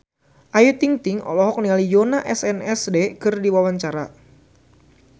Ayu Ting-ting olohok ningali Yoona SNSD keur diwawancara